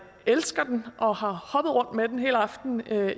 elsker den og har hoppet rundt med den hele aftenen